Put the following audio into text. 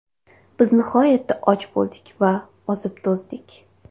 Biz nihoyatda och bo‘ldik va ozib-to‘zdik.